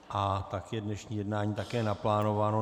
A tak je dnešní jednání také naplánováno.